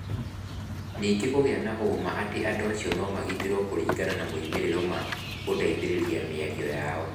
Ningĩ kũgĩa na ũũma atĩ andũ acio nĩ magitĩrũo kũringana na moimĩrĩro ma gũteithĩrĩria mĩario yao.